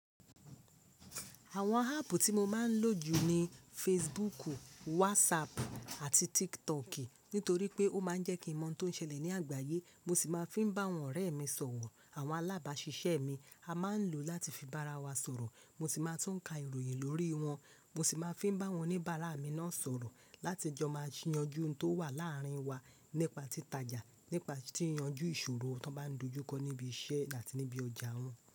Àwọn app tí mo máa ń lò jù ni Facebook, WhatsApp àti TikTok nítorí pé ó máa ń jẹ́ kí n mọ ohun tó ń ṣẹlẹ̀ ní àgbáyé. Mo sì máa ń fi bá àwọn ọ̀rẹ́ mi sọ̀rọ̀. Àwọn alábàáṣiṣẹ́ mi a máa ń lò ó láti fi bá ara wa sọ̀rọ̀. Mo sì máa tún ka ìròyìn lórí wọn. Mo sì máa ń fi bá awọn ní bara mi náà sọ̀rọ̀ láti jẹ́ mo máa yanjú ohun tó wà láàárín wa nípa títa ìjà, nípa tí yanjú ìṣòro tó bá ń dojú kọ níbi iṣẹ́ àti níbi ọjà wọn.